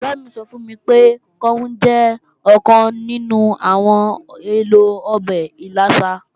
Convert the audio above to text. Ọ̀rẹ́ mi sọ fún mi pé, káún jẹ́ ọ̀kan nínú àwọn èlò ọbẹ̀ ìlàsà